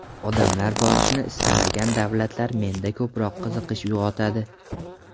Odamlar borishni istamagan davlatlar menda ko‘proq qiziqish uyg‘otadi.